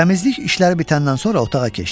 Təmizlik işləri bitəndən sonra otağa keçdi.